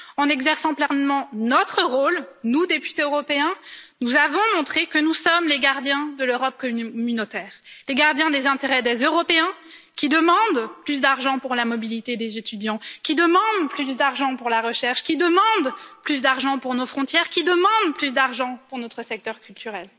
En exerçant pleinement notre rôle, nous, députés européens, nous avons montré que nous sommes les gardiens de l'Europe communautaire, les gardiens des intérêts des Européens, qui demandent plus d'argent pour la mobilité des étudiants, qui demandent plus d'argent pour la recherche, qui demandent plus d'argent pour nos frontières, qui demandent plus d'argent pour notre secteur culturel.